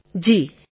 Tarannum Khan જી